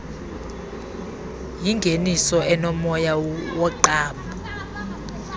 yingeniso enomoya woqambo